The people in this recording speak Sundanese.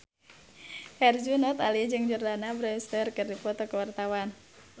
Herjunot Ali jeung Jordana Brewster keur dipoto ku wartawan